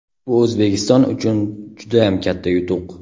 Bu O‘zbekiston uchun judayam katta yutuq.